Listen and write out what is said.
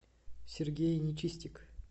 сергей нечистик